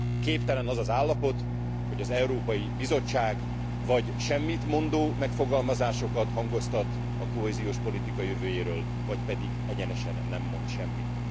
Képtelen az az állapot, hogy az Európai Bizottság vagy semmitmondó megfogalmazásokat hangoztat a kohéziós politika jövőjéről, vagy pedig egyenesen nem mond semmit.